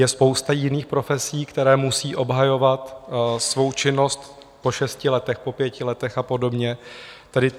Je spousta jiných profesí, které musí obhajovat svou činnost po šesti letech, po pěti letech a podobně.